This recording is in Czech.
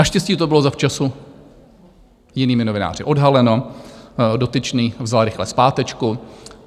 Naštěstí to bylo zavčasu jinými novináři odhaleno, dotyčný vzal rychle zpátečku.